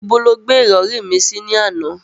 Ibo lo gbé ìrọ̀rí mi sí lánàá?